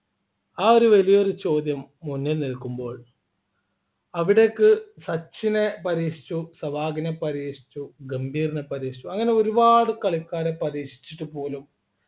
ആ ഒരു വലിയൊരു ചോദ്യം മുന്നിൽ നിൽക്കുമ്പോൾ അവിടേക്ക് സച്ചിനെ പരീക്ഷിച്ചു സേവാഗിനെ പരീക്ഷിച്ചു ഗംഭീർനെ പരീക്ഷിച്ചു അങ്ങനെ ഒരുപാട് കളിക്കാരെ പരീക്ഷിച്ചിട്ട് പോലും